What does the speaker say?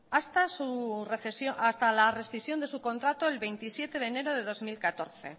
hasta la rescisión de su contrato el veintisiete de enero de dos mil catorce